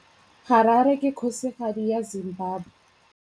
Harare ke kgosigadi ya Zimbabwe.